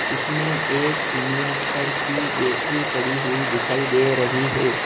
इसमें एक इनवर्टर की बैटरी पड़ी हुई दिखाई दे रही है।